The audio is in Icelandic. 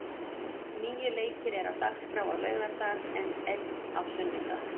Níu leikir eru á dagskrá á laugardag, en einn á sunnudag.